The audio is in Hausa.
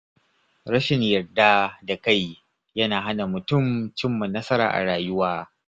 Rashin yarda da kai yana hana mutum cimma nasara a rayuwa.